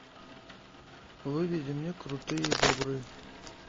выведи мне крутые бобры